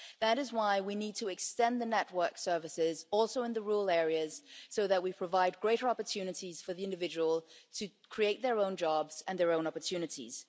That is why we need to extend the network services also in rural areas, so that we provide greater opportunities for the individual to create their own jobs and their own opportunities.